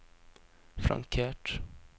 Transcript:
flankert